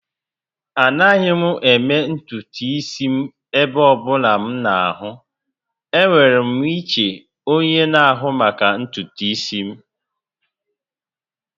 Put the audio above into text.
Anaghị m eme ntutu isi m ebe ọ bụla m na-ahụ. Enwere m iche onye na-ahụ maka ntutu isi m